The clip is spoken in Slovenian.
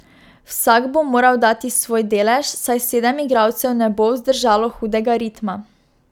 Vsak bo moral dati svoj delež, saj sedem igralcev ne bo vzdržalo hudega ritma.